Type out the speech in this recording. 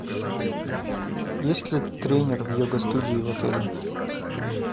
есть ли тренер в йога студии в отеле